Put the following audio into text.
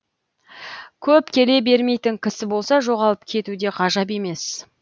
көп келе бермейтін кісі болса жоғалып кетуі де ғажап емес